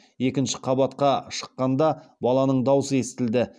екінші қабатқа шыққанда баланың дауысы естілді